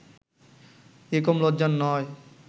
এ কম লজ্জার নয়